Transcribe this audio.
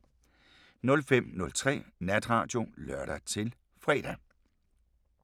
05:03: Natradio (lør-fre)